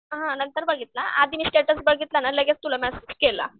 हां नंतर बघितला आधी मी स्टेटस बघितला ना लगेच तुला मेसेज केला.